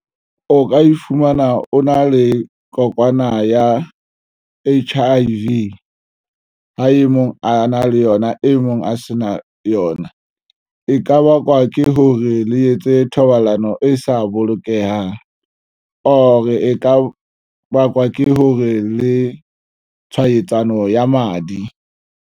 O ka e fumana o na le kokwana ya H_I_V ha e mong a na le yona e mong a se na yona e ka bakwa ke hore le etse thobalano e sa bolokehang or e ka bakwa ke hore le tshwaetsano ya madi.